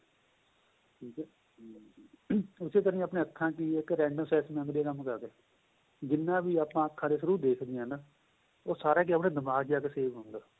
ਉਸੇ ਤਰ੍ਹਾਂ ਆਪਣੇਂ ਅੱਖਾਂ ਚ random access memory ਕੰਮ ਕਰਦੀ ਏ ਜਿੰਨਾ ਵੀ ਆਪਾਂ ਅੱਖਾ throw ਦੇਖਦੇ ਹਾਂ ਉਹ ਸਾਰਾ ਕਿ ਦਿਮਾਗ਼ ਦੇ ਵਿੱਚ ਜਾਕੇ save ਹੁੰਦਾ